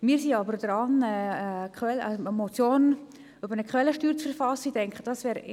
Wir verfassen zurzeit jedoch eine Motion zu einer Quellensteuer.